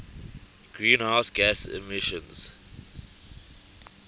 greenhouse gas emissions